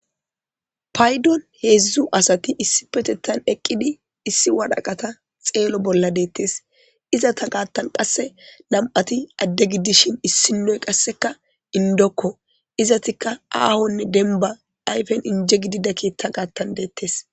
paydon heedzdzu asati issi petettan eqqidi issi wadhaqata xeelo bolla deettes izata gaattan qasse nam7ati adde gidishin issinoy qasseka indokko izatikka aahonne denba ayfen inje gidida keetta gaattan deettes